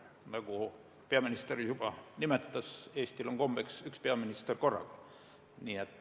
Nagu peaminister juba nimetas, Eestil on kombeks üks peaminister korraga.